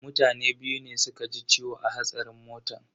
Mutane biyu ne suka ji ciwo a hatsarin motan.